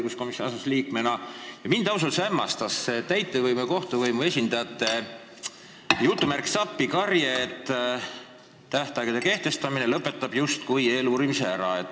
Ja mind ausalt öeldes hämmastas see täitevvõimu ja kohtuvõimu esindajate "appikarje", et tähtaegade kehtestamine lõpetab justkui eeluurimise ära.